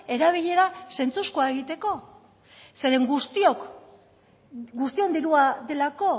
erabilera sentsuzko egiteko eren guztion dirua delako